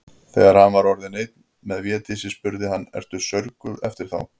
Þegar hann var orðinn einn með Védísi spurði hann:-Ertu saurguð eftir þá.